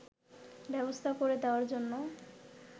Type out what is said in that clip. ব্যবস্থা করে দেওয়ার জন্য